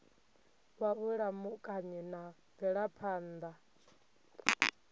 wa vhulamukanyi na mvelaphan ḓa